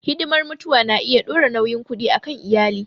Hidimar mutuwa na iya dora nauyin kuɗi a kan iyali.